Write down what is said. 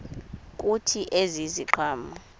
kuthi ezi ziqhamo